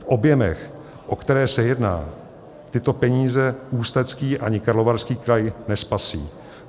V objemech, o které se jedná, tyto peníze Ústecký ani Karlovarský kraj nespasí.